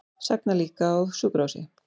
Sagna líka á sjúkrahúsi